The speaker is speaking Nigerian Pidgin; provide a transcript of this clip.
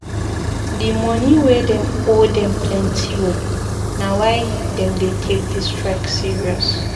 Di moni wey dem owe dem plenty o, na why dem dey take di strike serious.